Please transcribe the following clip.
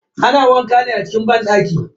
Ana wanka ne a cikin banɗaki.